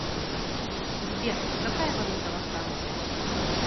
сбер какая валюта во франции